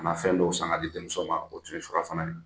Ka na fɛn dɔw san ka di denmuso ma o tun surafana ye